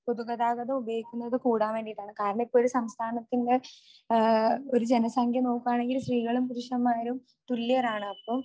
പൊതുഗതാഗതം ഉപയോഗിക്കുന്നത് കൂടാൻ വേണ്ടീട്ടാണ്. കാരണം ഇപ്പോ ഒരു സംസ്ഥാനത്തിന്റെ ഒരു ജനസംഖ്യ നോക്കണെങ്കിൽ സ്ത്രീകളും പുരുഷന്മാരും തുല്യരാണ് അപ്പോ